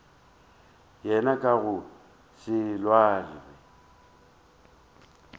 yena ka go se lalwe